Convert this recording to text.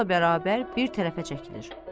Çavuşla bərabər bir tərəfə çəkilir.